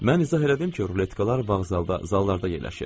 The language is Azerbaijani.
Mən izah elədim ki, ruletkalar vağzalda, zallarda yerləşir.